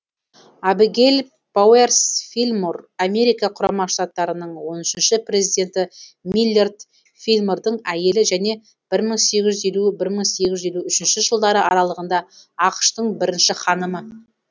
абигейл пауэрс филлмор америка құрама штаттарының он үшінші президенті миллард филлмордың әйелі және бір мың сегіз жүз елу бір мың сегіз жүз елу үш жылдары аралығында ақш тың бірінші ханымы